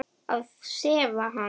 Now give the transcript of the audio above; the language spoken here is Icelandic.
Að sefa hann.